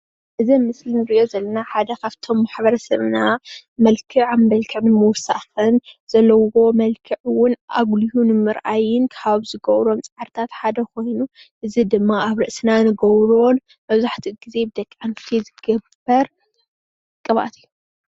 እዚ ኣብ ምስሊ እንሪኦ ዘለና ሓደ ካብቶም ማሕበረሰብና መልክዕ ኣብ ምውሳክን ዘለውዎ መልክዕ እውን ኣጉልሁ ንምርኣይን ካብ ዝገብሮም ፃዕርታት ሓደ ኮይኑ፣ እዚ ድማ ኣብ ርእስና እንገብሮን መብዛሕትኡ ግዜ ብደቂ ኣንስትዮ ዝግበር ቅብኣት እዩ፡፡